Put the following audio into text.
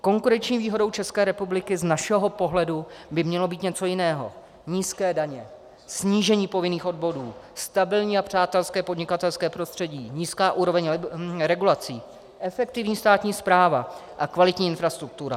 Konkurenční výhodou České republiky z našeho pohledu by mělo být něco jiného - nízké daně, snížení povinných odvodů, stabilní a přátelské podnikatelské prostředí, nízká úroveň regulací, efektivní státní správa a kvalitní infrastruktura.